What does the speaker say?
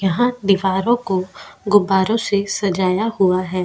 यहां दीवारों को गुबारों से सजाया हुआ है.